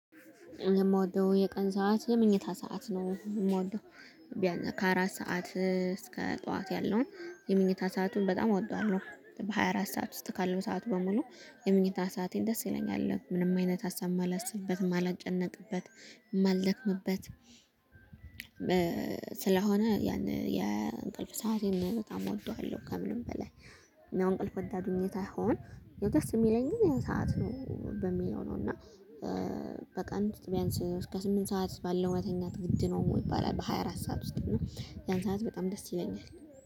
የምወደው የቀን ሰዓት የምኝታ ሰዓት ነው። የምወደው ቢያንስ ከአራት ሰዓት እስከ ጠዋት ያለውን የምንኝታ ሰአቱን በጣም አወደዋለሁ። በሃያ አራት ሰዓት ውስጥ ካለው ሰዓት በሙሉ የምንኝታ ሰአቴን ደስ ይለኛል። ምንም አይነት ሀሳብ ማላስብበት፣ ማልጨነቅበት ማልደክምበት፣ ስለሆነ ያን የእንቅልፍ ሰዓት በጣም እወደዋለሁ ከምንም በላይ። ያው እንቅልፉን ተድኘ ሳይሆን ያው ደስ የሚለኝ ግን ያ ሰዓት ነው በሚለው ነው። እና በቀን ቢያንስ እስከ ስምንት ሰዓት ባለው መተኛት ግድ ነው ይባላል። በሃያ አራት ሰዓት ውስጥ ነው ያን ሰዓት በጣም ደስ ይለኛል።